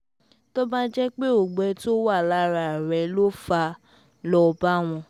tó bá jẹ́ pé ọgbẹ́ tó wà lára rẹ ló fà á lọ bá wọn